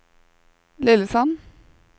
Lillesand